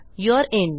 you're in